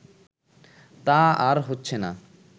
তা আর হচ্ছেনা